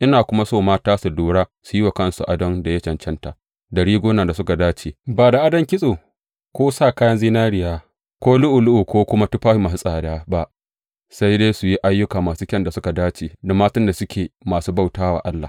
Ina kuma so mata su lura su yi wa kansu adon da ya cancanta, da rigunan da suka dace, ba da adon kitso ko sa kayan zinariya ko lu’ulu’u ko kuma tufafi masu tsada ba, sai dai su yi ayyuka masu kyan da suka dace da matan da suke masu bauta wa Allah.